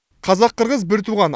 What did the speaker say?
қазақ қырғыз бір туған